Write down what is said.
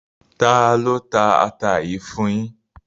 Tálọ tà àtà yìí fún yín?